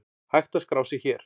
Hægt er að skrá sig hér.